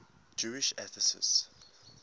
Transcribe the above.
jewish atheists